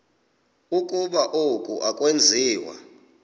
ukuba oku akwenziwa